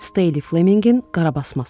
Stelinq Flemingin qarabasması.